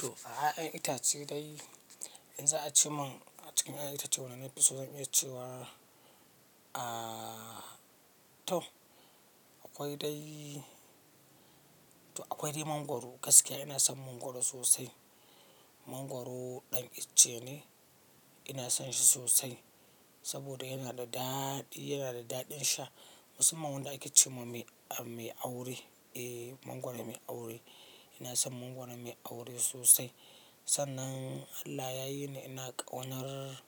To, a 'ya'yan itace dai in za a ce mun a cikin 'ya'yan itace wanne na fi so zan iya cewa, ah, to akwai dai, to akwai dai mangwaro gaskiya ina son mangwaro sosai. Mangwaro ɗan icce ne ina son shi sosai saboda yana da daɗi, yana da daɗin sha. Masumman wanda ake ce ma mai aure, eh mangwaro mai aure. Ina son mangwaro mai aure sosai. Sannan Allah ya yi ni ina ƙaunar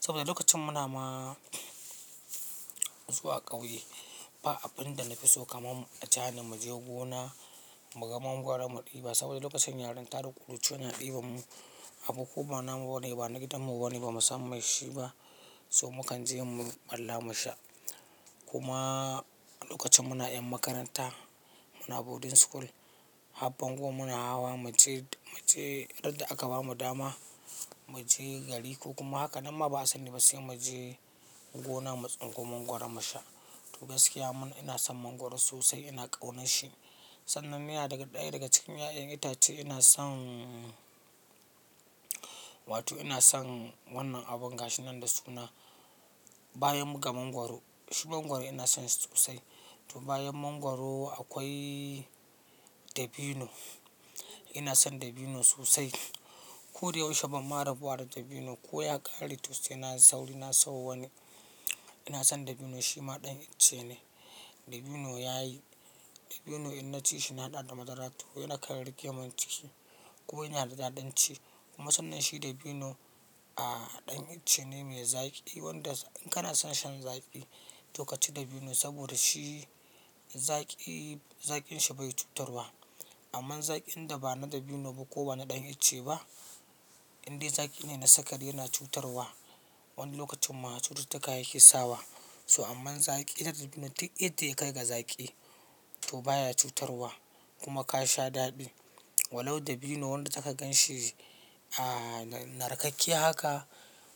saboda lokacin muna ma zuwa ƙauye ba abin da na fi so kamar ajani mu je gona mu ga mangwaro mu ɗiba saboda lokacin yarinta da ƙuruciya na ɗiban mu, abu ko ba namu bane bana gidanmu ba na ba mu san mai shi ba so mu kan je mu balla mu sha. Kuma lokacin muna 'yan makaranta muna boarding school, har bango muna hawa mu je, mu je radda aka bamu dama mu je gari ko kuma haka nan ma ba sani ba sai mu je gona mu tsinko mangwaro mu sha. To gaskiya mana ina son mangwaro sosai ina ƙaunar shi. Sannan miya daga ɗaya daga cikin 'ya'yan itace ina son Wato ina son wannan abin gashi nan da suna bayan ga mangwaro, shi mangwaro ina son shi sosai. To bayan mangwaro akwai dabino. Ina son dabino sosai. Ko da yaushe banma rabuwa da dabino ko ya ƙare to se na sauri na sawo wani. Ina son dabino shi ma ɗan itace ne. Dabino yayi, dabino in naci shi na daɗa da madara toh yana kan rike mun ciki kuma yana da daɗin ci. Kuma sannan shi dabino, ah, ɗan icce ne mai zaƙi wanda in kana son shan zaƙi to ka ci dabino saboda shi zaƙi, zaƙin shi bai cutarwa. Amma zaƙin da ba na dabino ba ko ba na ɗan icce ba indai zaƙi ne na sakari yana cutarwa wani lokacin ma cututtuka yake sawa. So amman zaƙi na dabino duk yadda ya kai ga zaƙi to baya cutarwa kuma ka sha daɗi. Walau dabino wanda zaka gan shi, ah, na narkakke haka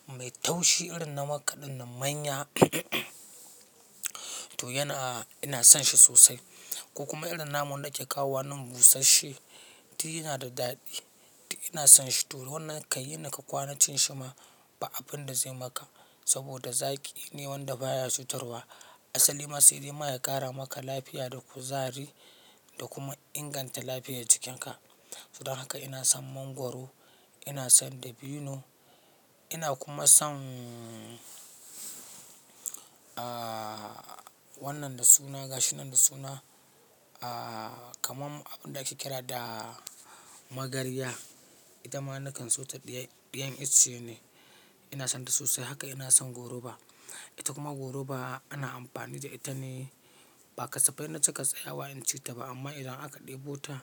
mai taushi irin na makka ɗin nan manya toh yana, ina son shi sosai. Ko kuma irin namu wanda ake kawowa nan busasshe duk yana da daɗi. Ina son shi toh wannan kan yi naka kwana cin shi ma ba abin da zai maka saboda zaƙi ne wanda baya cutarwa. Asali ma saida ma ya ƙara maka lafiya da kuzari da kuma inganta lafiyar jikinka. Don haka ina son mangwaro, ina son dabino, ina kuma son, ah, wannan da suna gashi nan da suna, ah, kaman abin da ake kira da magarya. Ita ma nakan so ta ɗayan, ɗayan icce ne. Ina son ta sosai haka ina son goruba. Ita kuma goruba ana amfani da ita ne ba kasafai na cika tsayawa in ci ta ba amma idan aka ɗebo ta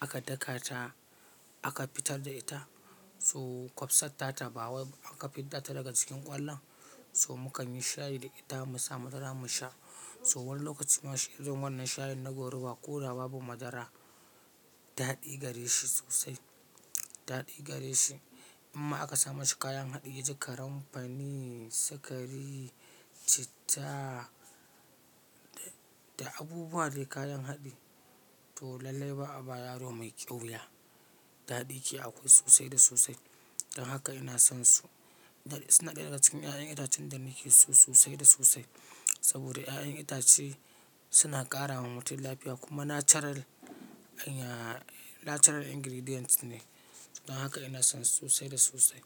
aka daka ta aka fitar da ita so kwabsatta ta ba wai aka fidda ta daga cikin ƙwallon so mu kan yi shayi da ita mu sa madara mu sha. So wani lokacin ma shan zun wannan shayin na goruba ko da babu madara daɗi gare shi sosai. Daɗi gare shi. Imma aka sa mashi kayan haɗi yaji karinfani, sikari, citta da da abubuwa dai kayan haɗi toh lallai ba a ba yaro mai ƙyauya. Daɗi ke akwai sosai da sosai. Don haka ina son su. Dan, suna ɗaya daga cikin 'ya'yan itacen da nake so sosai da sosai saboda 'ya'yan itace suna ƙara wa mutum lafiya kuma natural, anya, natural ingredient ne. Don haka ina son su sosai da sosai.